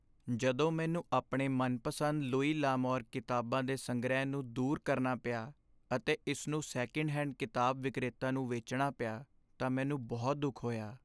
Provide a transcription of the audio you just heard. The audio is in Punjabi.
ਜਦੋਂ ਮੈਨੂੰ ਆਪਣੇ ਮਨਪਸੰਦ ਲੁਈ ਲ'ਅਮੌਰ ਕਿਤਾਬਾਂ ਦੇ ਸੰਗ੍ਰਹਿ ਨੂੰ ਦੂਰ ਕਰਨਾ ਪਿਆ ਅਤੇ ਇਸਨੂੰ ਸੈਕਿੰਡ ਹੈਂਡ ਕਿਤਾਬ ਵਿਕਰੇਤਾ ਨੂੰ ਵੇਚਣਾ ਪਿਆ ਤਾਂ ਮੈਨੂੰ ਬਹੁਤ ਦੁੱਖ ਹੋਇਆ।